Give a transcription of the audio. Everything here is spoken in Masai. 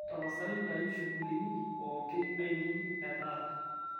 tapasali ntayu shughulini pooki aainei etaata